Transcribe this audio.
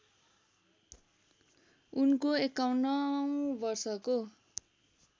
उनको ५१औं वर्षको